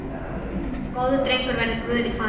Góður drengur verði Guði falinn.